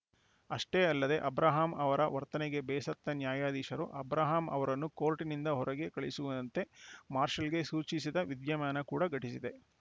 ಅಷ್ಟೇ ಅಲ್ಲದೆ ಅಬ್ರಹಾಂ ಅವರ ವರ್ತನೆಗೆ ಬೇಸತ್ತ ನ್ಯಾಯಾಧೀಶರು ಅಬ್ರಹಾಂ ಅವರನ್ನು ಕೋರ್ಟ್‌ನಿಂದ ಹೊರಗೆ ಕಳುಹಿಸುವಂತೆ ಮಾರ್ಷಲಗೆ ಸೂಚಿಸಿದ ವಿದ್ಯಮಾನ ಕೂಡ ಘಟಿಸಿದೆ